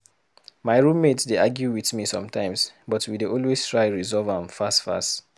My roommate dey argue with me sometimes, but we dey always try resolve am fast fast.